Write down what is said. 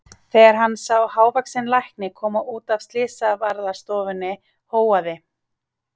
Þegar hann sá hávaxinn lækni koma út af slysavarðstofunni hóaði